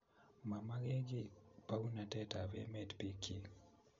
Momokekiy bounatet ab emet bikyi